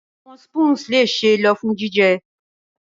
Awọn spoons le ṣee lo fun jijẹ